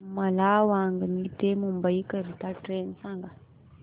मला वांगणी ते मुंबई करीता ट्रेन सांगा